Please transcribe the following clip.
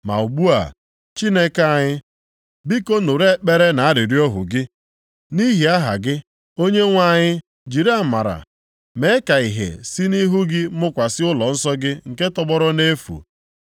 “Ma ugbu a, Chineke anyị, biko nụrụ ekpere na arịrịọ ohu gị. Nʼihi aha gị, Onyenwe anyị jiri amara mee ka ihe si nʼihu gị mụkwasị ụlọnsọ gị nke tọgbọrọ nʼefu.